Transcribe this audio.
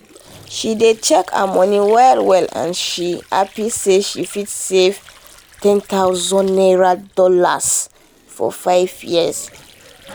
she dey check her money well well and she happy say she fit save one thousand dollars0 for five years.